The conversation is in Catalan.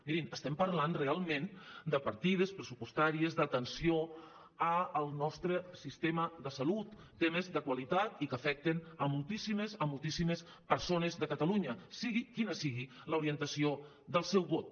mirin estem parlant realment de partides pressupostàries d’atenció al nostre sistema de salut temes de qualitat i que afecten moltíssimes moltíssimes persones de catalunya sigui quina sigui l’orientació del seu vot